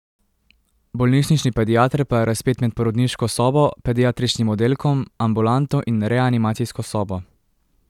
Bolnišnični pediater pa je razpet med porodniško sobo, pediatričnim oddelkom, ambulanto in reanimacijsko sobo.